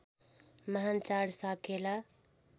महान् चाड साकेला